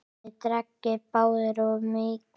Þið drekkið báðir of mikið.